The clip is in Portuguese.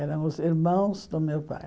Eram os irmãos do meu pai.